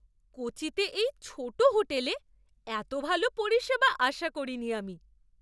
কোচিতে এই ছোট হোটেলে এত ভাল পরিষেবা আশা করিনি আমি!